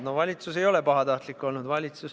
Valitsus ei ole pahatahtlik olnud.